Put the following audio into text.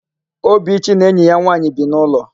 Obichi na enyi ya nwaanyị bi n'ụlọ.